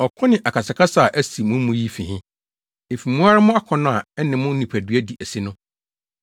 Ɔko ne akasakasa a asi mo mu yi fi he? Efi mo ara mo akɔnnɔ a ɛne mo nipadua di asi no.